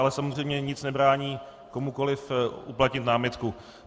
Ale samozřejmě nic nebrání komukoliv uplatnit námitku.